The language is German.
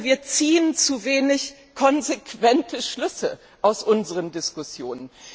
Wir ziehen zu wenig konsequente Schlüsse aus unseren Diskussionen.